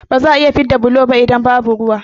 Ba za'a iya fidda bulo ba idan ba ruwa